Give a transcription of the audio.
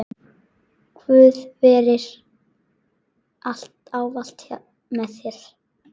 Guð veri ávallt með þér.